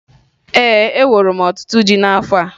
Ee, eworo m ọtụtụ ji n'afọ a